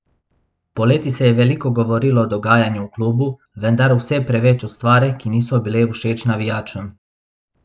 Poleti se je veliko govorilo o dogajanju v klubu, vendar vse preveč o stvareh, ki niso bile všeč navijačem.